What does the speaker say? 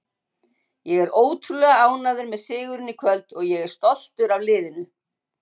Ég er ótrúlega ánægður með sigurinn í kvöld og ég er stoltur af liðinu.